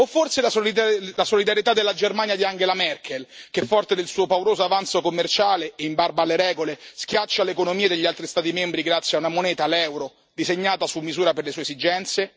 O forse la solidarietà della Germania di Angela Merkel che, forte del suo pauroso avanzo commerciale, in barba alle regole, schiaccia le economie degli altri Stati membri, grazie a una moneta, l'euro, disegnata su misura per le sue esigenze?